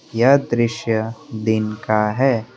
यह दृश्य दिन का है।